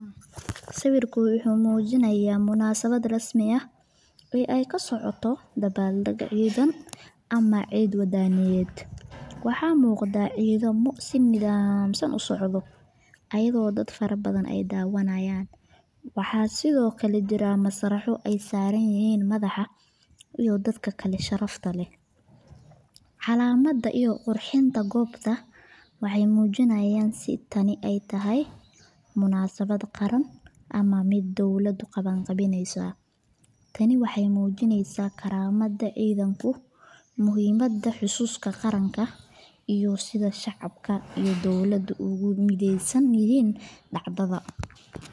Sawirku wuxuu muujinayaa munaasabad rasmi ah oo ka socota dabaal-deg ciidan ama ciid waddaniyadeed. Waxaa muuqda ciidamo si nidhaamsan u socda, ayagoo ay daawanayaan dad fara badan. Sidoo kale, waxaa jira masraxyo ay saaran yihiin madax iyo dad sharaf leh. Calamada iyo qurxinta goobta waxay muujinayaan in tani tahay munaasabad qaran ama mid ay dowladda qabanqaabisay. Tani waxay muujinaysaa karaamada ciidanka, muhiimadda xuska qaranka, iyo sida shacabka iyo dowladda ugu midaysan yihiin dacdada.